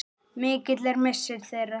Mikill er missir þeirra.